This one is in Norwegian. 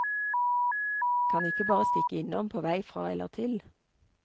Kan ikke bare stikke innom på vei fra eller til.